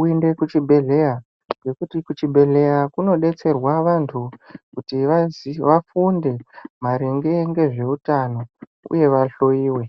uende kuchibhedhleya, ngekuti kuchibhedhleya kunotetserwa vantu kuti vafunde maringe nezveutano uye vahloiwe.